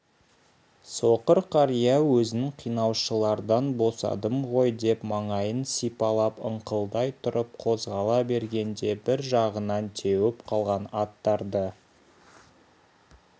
соқыр қария өзін қинаушылардан босадым ғой деп маңайын сипалап ыңқылдай тұрып қозғала бергенде бір жағынан теуіп қалған аттарды